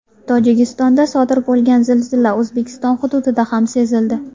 Tojikistonda sodir bo‘lgan zilzila O‘zbekiston hududida ham sezildi.